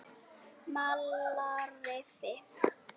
Malarrifi